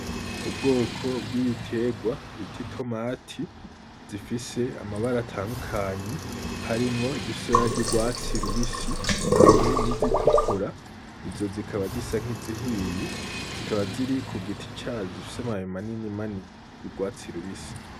Ubwoko bw’ibitegwa bita itomati zifise amabara atandukanye harimwo izifise ibara ry’urwatsi rubisi hamwe n’izitukura izo zikaba zisa nk’izihiye zikaba ziri ku giti cazo zifise amababi manini manini y’urwatsi rubisi.